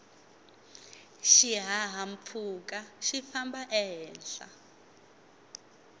xihahampfhuka xifamba ehenhla